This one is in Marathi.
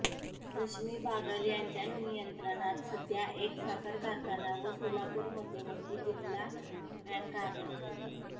रश्मी बागल यांच्या नियंत्रणात सध्या एक साखर कारखाना व सोलापूर मध्यवर्ती जिल्हा बँक आहे